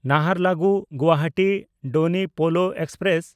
ᱱᱟᱦᱟᱨᱞᱟᱜᱩᱱ–ᱜᱩᱣᱟᱦᱟᱴᱤ ᱰᱚᱱᱤ ᱯᱳᱞᱳ express